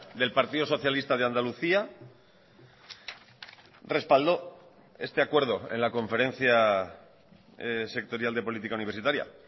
del partido socialista de andalucía respaldó este acuerdo en la conferencia sectorial de política universitaria